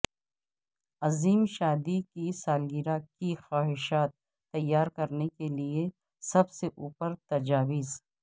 عظیم شادی کی سالگرہ کی خواہشات تیار کرنے کے لئے سب سے اوپر تجاویز